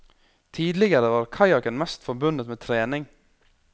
Tidligere var kajakken mest forbundet med trening.